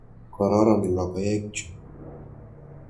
Kororon logoek chu.